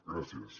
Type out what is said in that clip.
gràcies